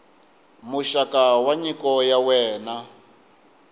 muxaka wa nyiko ya wena